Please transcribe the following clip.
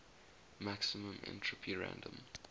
maximum entropy random